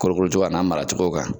Kolo kolo cogoya a n'a mara cogo kan.